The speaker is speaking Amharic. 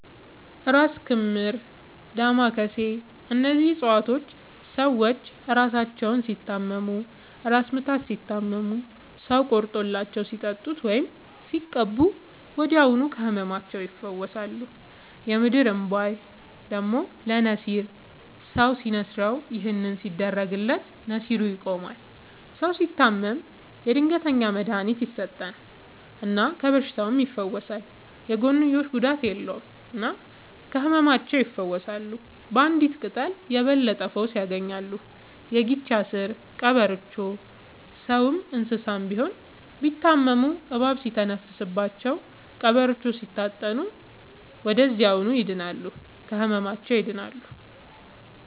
እራስ ክምር ዳማ ከሴ እነዚህ ፅፀዋቶች ሰዎች እራሳቸውን ሲታመሙ እራስ ምታት ሲታመሙ ሰው ቆርጦላቸው ሲጠጡት ወይም ሲቀቡ ወዲያውኑ ከህመማቸው ይፈወሳሉ። የምድር እንቧይ ደግሞ ለነሲር ሰው ሲንስረው ይህን ሲያደርግለት ነሲሩ ይቆማል። ሰው ሲታመም የድንገተኛ መድሀኒት ይሰጠል እና ከበሽታውም ይፈወሳል። የጎንዮሽ ጉዳት የለውም እና ከህመማቸው ይፈውሳሉ ባንዲት ቅጠል የበለጠ ፈውስ ያገኛሉ። የጊቻ ስር ቀበሮቾ ሰውም እንሰሳም ቢሆን ቢታመሙ እባብ ሲተነፍስባቸው ቀብሮቾውን ሲታጠኑ ወደዚያውኑ ይድናሉ። ከህመማቸው ይድናሉ…ተጨማሪ ይመልከቱ